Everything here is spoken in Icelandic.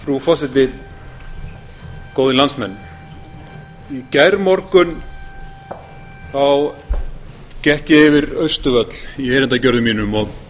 frú forseti góðir landsmenn í gærmorgun gekk ég yfir austurvöll í erindagjörðum mínum og